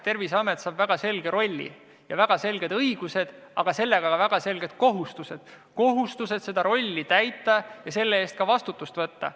Terviseamet saab väga selge rolli ja väga selged õigused, aga ka väga selged kohustused – kohustused seda rolli täita ja selle eest ka vastutus võtta.